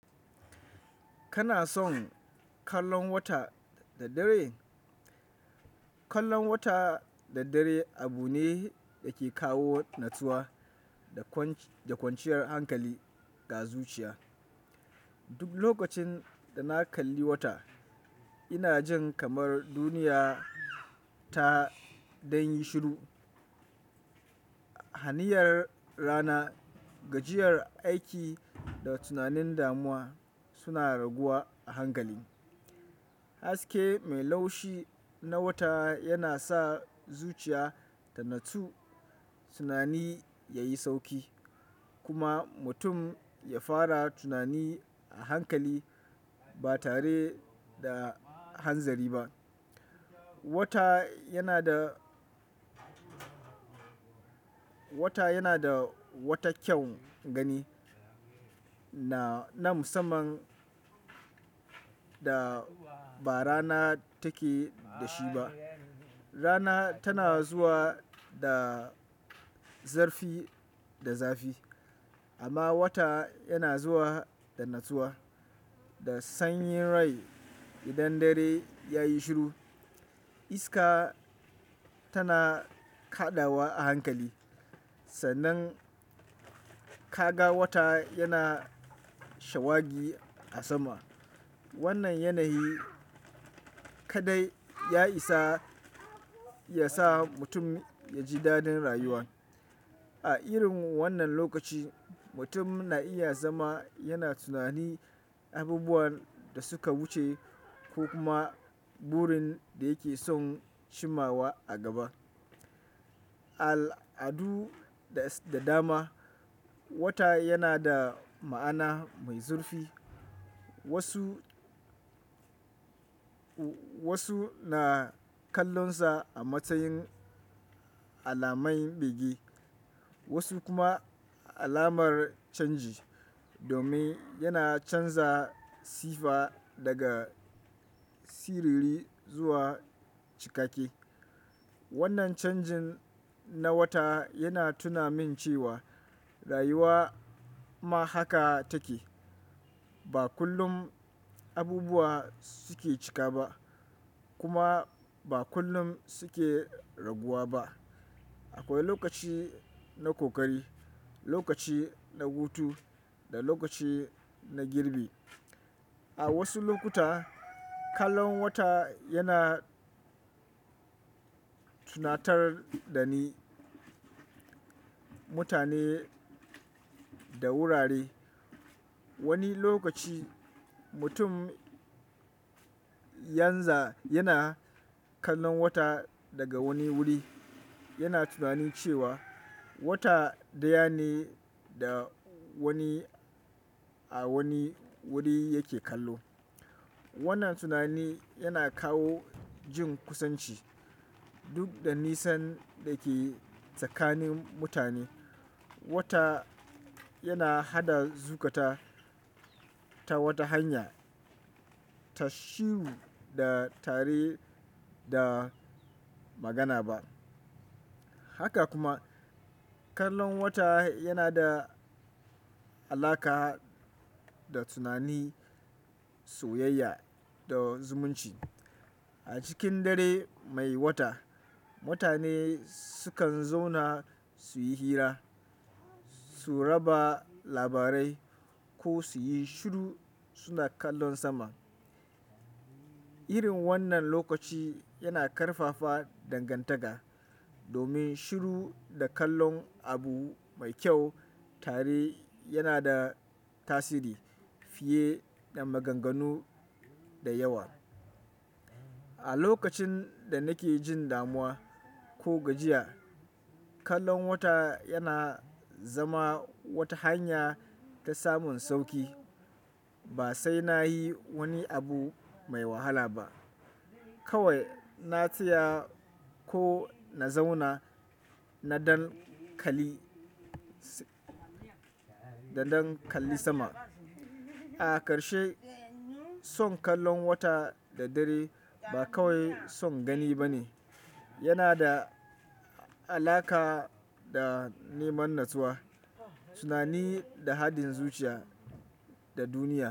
Kana son kallon wata da dare? Kallon wata da dare abu ne yake kawo natsuwa da kwanciyar hankali ga zuciya. Duk lokacin da na kalli wata, ina jin kamar duniya ta dan yi shiru. Haniyar rana, gajiyar aiki da tunanin damuwa suna raguwa a hankali. Haske mai laushi na wata yana sa zuciya ta natsu, tunani ya yi sauki kuma mutum ya fara tunani a hankali ba tare da hanzari ba. Wata yana da, wata yana da wata kyaun gani na musamman da ba rana take da shi ba. Rana tana zuwa da zarfi da zafi amma wata yana zuwa da natsuwa, da sanyin rai idan dare ya yi shiru. Iska tana kaɗawa a hankali, sannan kaga wata yana shawagi a sama. Wannan yanayi kaɗai ya isa ya sa mutum ya ji dadin rayuwa. A irin wannan lokaci, mutum na iya zama yana tunanin abubuwan da suka wuce ko kuma burin da yake son cima wa a gaba. Al'adu da dama, wata yana da ma'ana mai zurfi. Wasu, wasu na kallonsa a matsayin alamai bege, wasu kuma alamar canji domin yana canza sifa daga siriri zuwa cikake. Wannan canjin na wata yana tuna min cewa rayuwa ma haka take. Ba kullum abubuwa suke cika ba kuma ba kullum suke raguwa ba. Akwai lokaci na kokari, lokaci na hutu da lokaci na girbi. A wasu lokuta, kallon wata yana tunatar da ni, mutane da wurare. Wani lokaci mutum yanza yana kallon wata daga wani wuri, yana tunanin cewa wata ɗaya ne da wani a wani wuri yake kallo. Wannan tunani yana kawo jin kusanci duk da nisan da ke tsakanin mutane. Wata yana haɗa zukata ta wata hanya ta shiru da tare da magana ba. Haka kuma kallon wata yana da alaƙa da tunani, soyayya da zumunci. A cikin dare mai wata, mutane sukan zauna su yi hira, su raba labarai ko su yi shiru suna kallon sama. Irin wannan lokaci yana ƙarfafa dangantaka domin shiru da kallon abu mai kyau tare yana da tasiri fiye da maganganu da yawa. A lokacin da nake jin damuwa ko gajiya, kallon wata yana zama wata hanya ta samun sauƙi. Ba sai na yi wani abu mai wahala ba. Kawai na tsaya ko na zauna na dan kali, da dan kalli sama. A ƙarshe son kallon wata da dare ba kawai son gani ba ne. Yana da alaƙa da neman natsuwa, tunani da haɗin zuciya da duniya.